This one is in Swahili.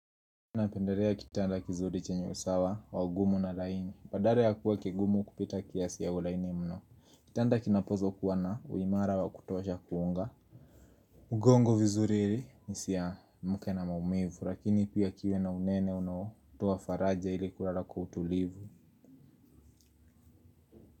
Napendelea kitanda kizuri chenye usawa wa ugumu na laini, badala ya kuwa kigumu kupita kiasi au laini mno, kitanda kinapozwa kuwana uimara wa kutosha kuunga mgongo vizuri ili nisiamke na maumivu, lakini pia kiwe na unene unao, toa faraja ili kulala kwa utulivu.